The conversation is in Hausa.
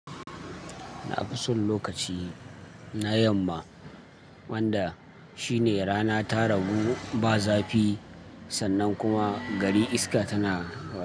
Na fi son lokaci na yamma wanda shine rana ta rabu ba zafi sannan kuma gari iska tana wa.